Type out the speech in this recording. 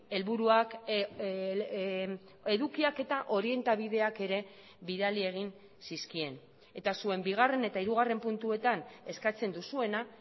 helburuak edukiak eta orientabideak ere bidali egin zizkien eta zuen bigarren eta hirugarren puntuetan eskatzen duzuena